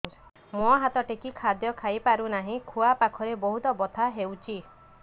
ମୁ ହାତ ଟେକି ଖାଦ୍ୟ ଖାଇପାରୁନାହିଁ ଖୁଆ ପାଖରେ ବହୁତ ବଥା ହଉଚି